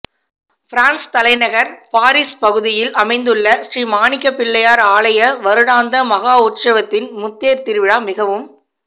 France தலைநகர் Paris பகுதியில் அமைந்துள்ள ஸ்ரீமாணிக்க பிள்ளையார் ஆலய வருடாந்த மகோற்சவத்தின் முத்தேர் திருவிழா மிகவும்